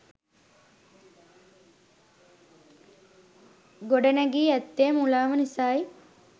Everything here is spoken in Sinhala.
ගොඩනැඟී ඇත්තේ මුලාව නිස යි.